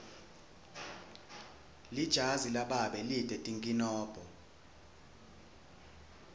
lijazi lababe lite tinkinombo